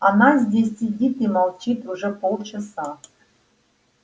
она здесь сидит и молчит уже полчаса